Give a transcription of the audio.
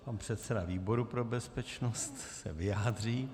Pan předseda výboru pro bezpečnost se vyjádří.